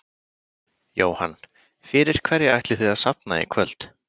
Jóhann: Fyrir hverja ætlið þið að safna í kvöld?